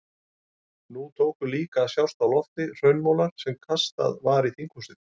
Nú tóku líka að sjást á lofti hraunmolar sem kastað var í þinghúsið.